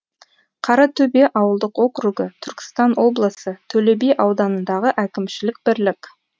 қаратөбе ауылдық округі түркістан облысы төле би ауданындағы әкімшілік бірлік